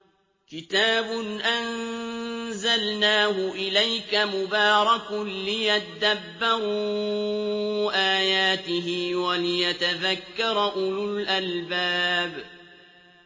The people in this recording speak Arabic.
كِتَابٌ أَنزَلْنَاهُ إِلَيْكَ مُبَارَكٌ لِّيَدَّبَّرُوا آيَاتِهِ وَلِيَتَذَكَّرَ أُولُو الْأَلْبَابِ